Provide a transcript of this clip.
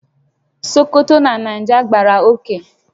Sokoto na Niger gbàrà oké